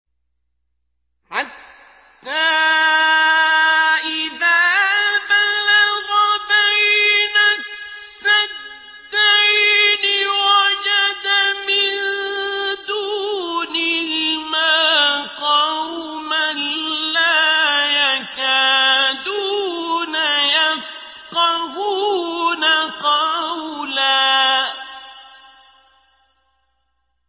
حَتَّىٰ إِذَا بَلَغَ بَيْنَ السَّدَّيْنِ وَجَدَ مِن دُونِهِمَا قَوْمًا لَّا يَكَادُونَ يَفْقَهُونَ قَوْلًا